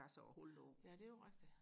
ja det er jo rigtigt